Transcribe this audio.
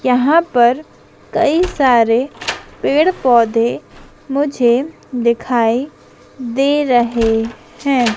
यहां पर कई सारे पेड़ पौधे मुझे दिखाई दे रहे हैं।